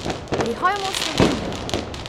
Prihajamo v Slovenijo!